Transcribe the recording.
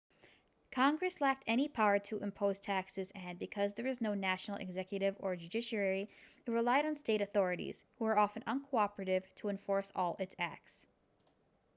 congress lacked any power to impose taxes and because there was no national executive or judiciary it relied on state authorities who were often uncooperative to enforce all its acts